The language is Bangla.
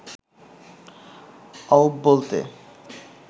অউব বলতে